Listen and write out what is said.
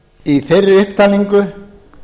í þeirri upptalningu